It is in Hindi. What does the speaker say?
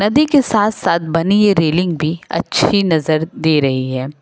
नदी के साथ साथ बनी यह रेलिंग भी अच्छी नजर दे रही है।